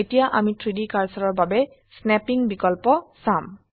এতিয়া আমি 3ডি কাৰ্সাৰৰ বাবে স্নেপ্পিং বিকল্প চাম